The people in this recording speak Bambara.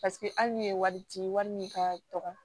Paseke hali n'i ye wari ci wari min ka dɔgɔ